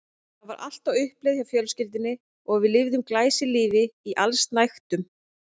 Það var allt á uppleið hjá fjölskyldunni og við lifðum glæsilífi í allsnægtum.